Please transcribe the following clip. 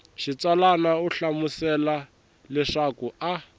xitsalwana u hlamusela leswaku a